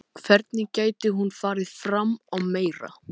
Hvernig gæti hún farið fram á meira?